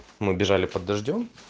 мы бежали под дождём